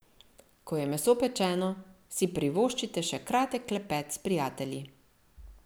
Ko je meso pečeno, si privoščite še kratek klepet s prijatelji.